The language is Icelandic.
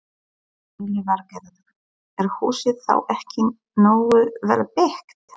Lillý Valgerður: Er húsið þá ekki nógu vel byggt?